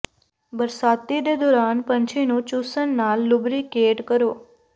ਬਰਸਾਤੀ ਦੇ ਦੌਰਾਨ ਪੰਛੀ ਨੂੰ ਚੂਸਣ ਨਾਲ ਲੁਬਰੀਕੇਟ ਕਰੋ